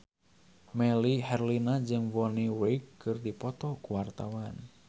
Melly Herlina jeung Bonnie Wright keur dipoto ku wartawan